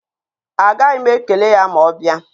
Agaghị m ekele ya ma ọ bịa.